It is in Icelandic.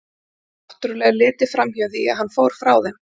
Ef náttúrlega er litið fram hjá því að hann fór frá þeim.